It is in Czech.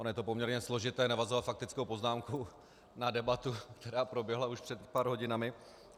Ono je poměrně složité navazovat faktickou poznámkou na debatu, která proběhla už před pár hodinami.